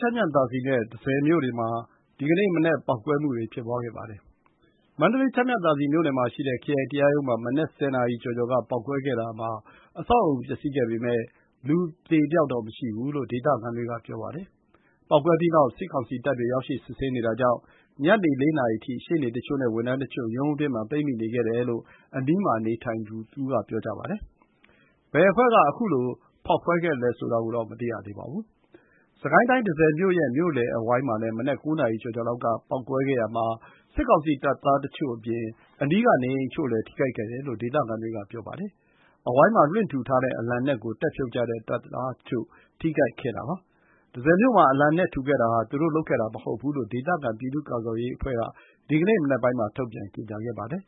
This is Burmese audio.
ျမ်းမြသာစည်နဲ့ တန့်ဆည်မြို့တွေမှာ ဒီကနေ့မနက် ပေါက်ကွဲမှုတွေ ဖြစ်ပွါးခဲ့ပါတယ်။ မန္တလေး ချမ်းမြသာစည်မြို့နယ်မှာ ခရိုင်တရားရုံးမှာ မနက် ၁၀ နာရီကျော်ကျော်က ပေါက်ကွဲခဲ့တာမှာ အဆောက်အအုံပျက်စီးခဲ့ပေမဲ့ လူ အသေအပျောက်တော့မရှိဘူးလို့ ဒေသခံတွေ က ပြောပါတယ်။ ပေါက်ကွဲပြီးနောက် စစ်ကောင်စီတပ်တွေ ရောက်ရှိ စစ်ဆေးနေတာကြောင့် ညနေ ၄ နာရီအထိ ရှေ့နေတချို့နဲ့ ဝန်ထမ်းတချို့ ရုံးအတွင်းမှာ ပိတ်မိနေခဲ့တယ်လို့ အနီးမှာ နေထိုင်သူတဦးက ပြောပါတယ်။ ဘယ်အဖွဲ့က ခုလို ဖောက်ခွဲခဲ့သလဲဆိုတာကိုတော့ မသိရသေးပါဘူး။ စစ်ကိုင်းတိုင်း တန့်ဆည်မြို့ရဲ့ မြို့လယ်အဝိုင်းမှာလည်း မနက် ၉ နာရီ ကျော်ကျော်လောက် က ပေါက်ကွဲခဲ့ရာမှာ စစ်ကောင်စီတပ်သားတချို့အပြင် အနီးက နေအိမ်အချို့လည်း ထိခိုက် ခဲ့တယ်လို့ ဒေသခံတွေက ပြောပါတယ်။ အဝိုင်းမှာ လွှင့်ထူထားတဲ့ အလံနက်ကို တက်ဖြုတ်ကြတဲ့ တပ်သားတချို့ ထိခိုက်ခဲ့တာပါ။ တန်ဆည်မြို့မှာ အလံနက်ထူခဲ့တာဟာ သူတို့လုပ်ခဲ့တာ မဟုတ်ဘူးလို့ ဒေသခံ ပြည်သူ့ ကာကွယ်ရေး အဖွဲ့က ဒီကနေ့မနက်ပိုင်း မှာ ထုတ်ပြန်ကြေညာပါတယ်။